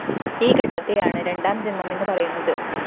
ഈ ഘട്ടത്തെയാണ് രണ്ടാംജന്മമെന്നു പറയുന്നത്